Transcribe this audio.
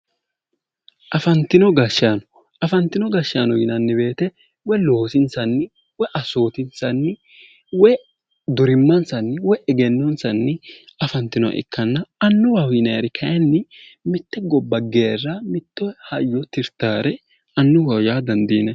Afantino gashshano afantino gashshaano yinanni woyte woy loosinsni woy assootinsanni Woy durimmansanni woyi egennonsanni afantinoha ikkanna annuwaho yinayri mitte gobba geeri mitto qarra tirtaare annuwaho yaa dandiinani